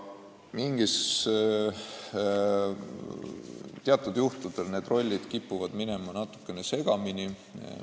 Teatud juhtudel kipuvad need rollid natukene segamini minema.